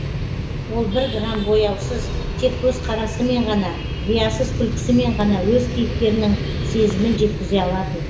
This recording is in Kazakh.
ол бір грамм бояусыз тек көзқарасымен ғана риясыз күлкісімен ғана өз кейіпкерінің сезімін жеткізе алатын